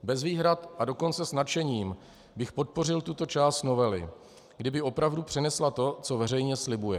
Bez výhrad, a dokonce s nadšením bych podpořil tuto část novely, kdyby opravdu přinesla to, co veřejně slibuje.